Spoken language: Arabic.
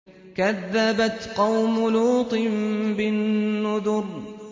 كَذَّبَتْ قَوْمُ لُوطٍ بِالنُّذُرِ